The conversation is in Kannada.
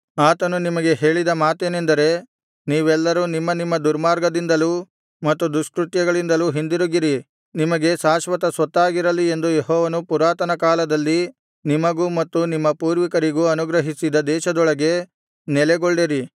ಆತನು ನಿಮಗೆ ಹೇಳಿದ ಮಾತೇನೆಂದರೆ ನೀವೆಲ್ಲರು ನಿಮ್ಮ ನಿಮ್ಮ ದುರ್ಮಾರ್ಗದಿಂದಲೂ ಮತ್ತು ದುಷ್ಕೃತ್ಯಗಳಿಂದಲೂ ಹಿಂದಿರುಗಿರಿ ನಿಮಗೆ ಶಾಶ್ವತ ಸ್ವತ್ತಾಗಿರಲಿ ಎಂದು ಯೆಹೋವನು ಪುರಾತನ ಕಾಲದಲ್ಲಿ ನಿಮಗೂ ಮತ್ತು ನಿಮ್ಮ ಪೂರ್ವಿಕರಿಗೂ ಅನುಗ್ರಹಿಸಿದ ದೇಶದೊಳಗೆ ನೆಲೆಗೊಳ್ಳಿರಿ